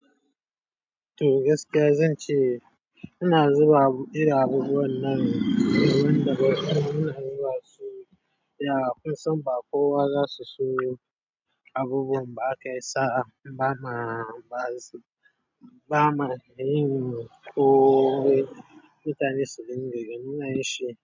To gaskiya zan ce ina zuba iri abubuwan nan, domin da gaske ina zuba su, ya'a kusan ba kowa zasu sayo abubuwa, ba ka isa ba ma, ba ma, ba ma, ko mutane sun yi goge muna yi shi.